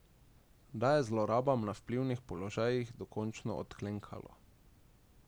Da je zlorabam na vplivnih položajih dokončno odklenkalo.